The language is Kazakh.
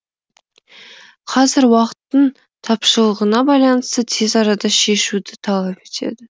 қазір уақыттың тапшылығына байланысты тез арада шешуді талап етеді